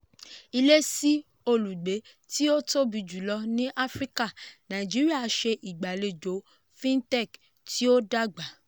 "ilé sí olùgbé tí ó tóbi jùlọ ni áfríkà nàìjíríà ṣe ìgbàlejò fintech tí o dàgbà"